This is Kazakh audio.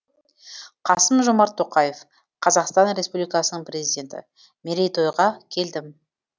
қасым жомарт тоқаев қазақстан республикасының президенті мерейтойға келдім